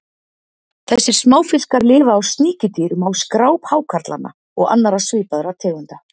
Þessir smáfiskar lifa á sníkjudýrum á skráp hákarlanna og annarra svipaðra tegunda.